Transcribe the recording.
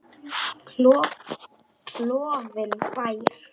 Klofinn bær.